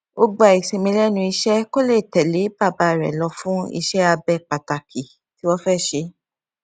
ó gba ìsinmi lénu iṣé kó lè tẹlé bàbá rè lọ fún iṣẹabẹ pàtàkì tí wọn fẹ ṣe